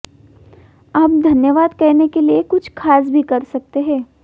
आप धन्यवाद कहने के लिए कुछ खास भी कर सकते हैं